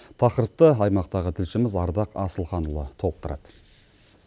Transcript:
тақырыпты аймақтағы тілшіміз ардақ асылханұлы толықтырады